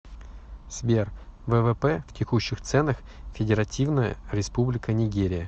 сбер ввп в текущих ценах федеративная республика нигерия